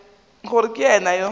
gore ke yena yo a